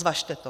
Zvažte to.